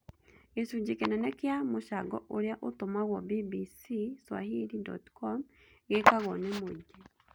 Gĩcunjĩ kĩnene kĩa mũcango ũrĩa ũtũmagũo bbcswahili.com gĩkagũo nĩ mũingĩ